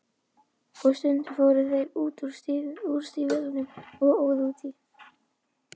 Og stundum fóru þeir úr stígvélunum og óðu út í.